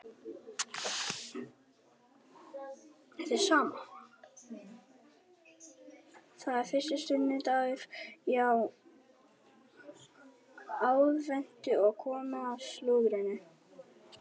Það er fyrsti sunnudagur í aðventu og komið að slúðrinu.